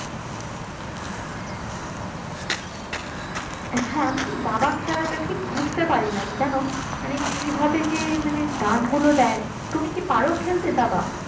হ্যাঁ আমি দাবা খেলাটা ঠিক বুঝতে পারি না জানো? মানে কিভাবে যে মানে দান গুলো দেয় তুমি কি পারো খেলতে দাবা?